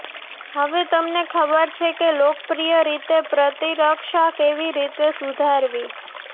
હવે તમને ખબર છે કે લોકપ્રિય રીતે પ્રતિરક્ષા કેવી રીતે સુધારવી